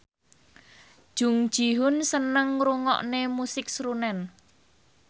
Jung Ji Hoon seneng ngrungokne musik srunen